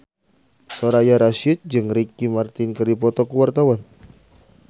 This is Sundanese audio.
Soraya Rasyid jeung Ricky Martin keur dipoto ku wartawan